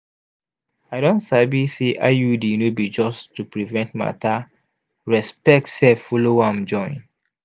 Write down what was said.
i don sabi say iud no be just to prevent matter respect sef follow am join.